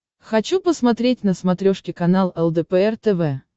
хочу посмотреть на смотрешке канал лдпр тв